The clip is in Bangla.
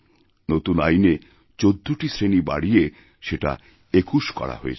নতুন আইনে ১৪টি শ্রেণি বাড়িয়েসেটা ২১ করা হয়েছে